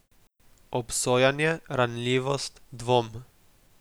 Obsojanje, ranljivost, dvom.